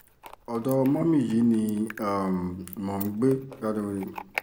ọ̀dọ́ mọ́mì yìí ni um mò ń gbé